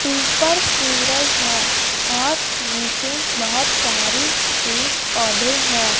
ऊपर सूरज है और नीचे बहोत सारी पेड़ पौधे हैं।